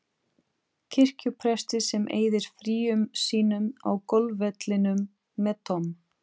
kirkjupresti sem eyðir fríum sínum á golfvellinum með Tom